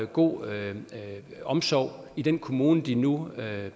god omsorg i den kommune de nu